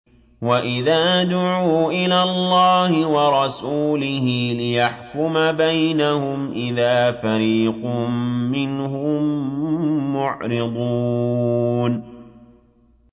وَإِذَا دُعُوا إِلَى اللَّهِ وَرَسُولِهِ لِيَحْكُمَ بَيْنَهُمْ إِذَا فَرِيقٌ مِّنْهُم مُّعْرِضُونَ